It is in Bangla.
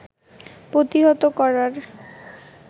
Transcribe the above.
প্রতিহত করার